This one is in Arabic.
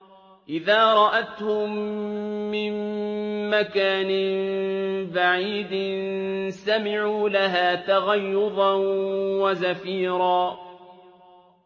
إِذَا رَأَتْهُم مِّن مَّكَانٍ بَعِيدٍ سَمِعُوا لَهَا تَغَيُّظًا وَزَفِيرًا